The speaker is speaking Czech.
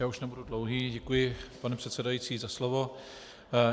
Já už nebudu dlouhý, děkuji, pane předsedající, za slovo.